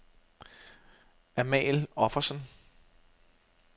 Amal Offersen